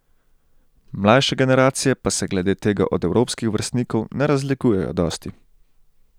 Mlajše generacije pa se glede tega od evropskih vrstnikov ne razlikujejo dosti.